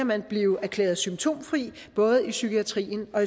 man blive erklæret symptomfri både i psykiatrien og